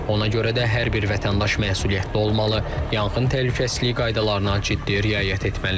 Ona görə də hər bir vətəndaş məsuliyyətli olmalı, yanğın təhlükəsizliyi qaydalarına ciddi riayət etməlidir.